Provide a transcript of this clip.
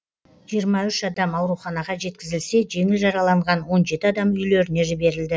жиырма үш адам ауруханаға жеткізілсе жеңіл жараланған он жеті адам үйлеріне жіберілді